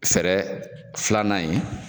Fɛrɛ filanan in